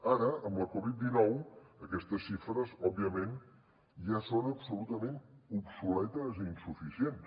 ara amb la covid dinou aquestes xifres òbviament ja són absolutament obsoletes i insuficients